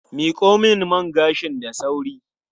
Miko min man gashin da sauri.